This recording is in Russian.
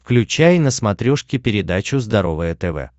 включай на смотрешке передачу здоровое тв